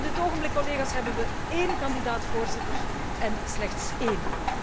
Op dit ogenblik, collega's, hebben we één kandidaat voorzitter, en slechts één.